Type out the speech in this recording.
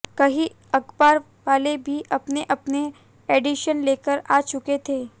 कई अखबार वाले भी अपने अपने एडिशन लेकर आ चुके थे